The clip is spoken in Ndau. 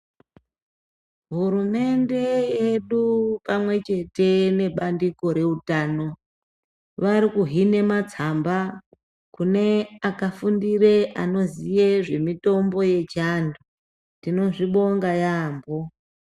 Hurumende yedu pamwechete nebandiko rewutano, varikuhine matsamba kune akafundire anoziye zvemitombo yechantu. Tinozvibonga yambo.